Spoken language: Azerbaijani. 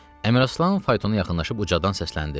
Əmiraslan faytona yaxınlaşıb ucadan səsləndi.